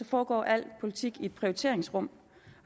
foregår al politik i et prioriteringsrum